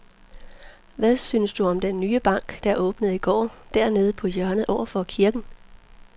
Hvad synes du om den nye bank, der åbnede i går dernede på hjørnet over for kirken?